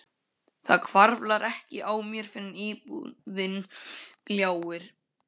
Það hvarflar ekki að mér fyrr en íbúðin gljáir.